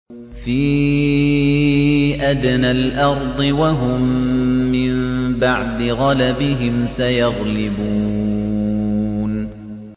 فِي أَدْنَى الْأَرْضِ وَهُم مِّن بَعْدِ غَلَبِهِمْ سَيَغْلِبُونَ